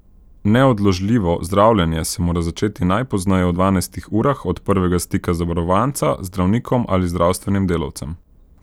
Neodložljivo zdravljenje se mora začeti najpozneje v dvanajstih urah od prvega stika zavarovanca z zdravnikom ali zdravstvenim delavcem.